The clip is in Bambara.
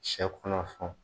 Sɛ kɔnɔ fɛnw